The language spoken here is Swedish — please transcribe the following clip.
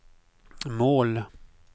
mål